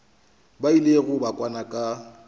ba ilego ba kwana ka